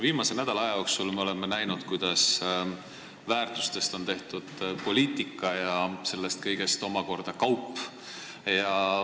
Viimase nädala jooksul oleme näinud, kuidas väärtustest on tehtud poliitika ja sellest kõigest omakorda kaup.